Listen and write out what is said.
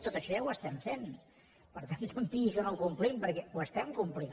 tot això ja ho estem fent per tant no em digui que no ho complim perquè ho estem complint